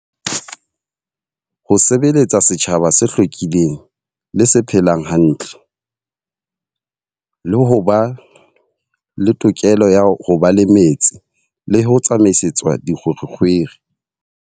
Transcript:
Ho sebeletsa setjhaba se hlwekileng le se phelang hantle. Le ho ba le tokelo ya ho ba le metsi, le ho tsamaisetswa dikgwerekgwere.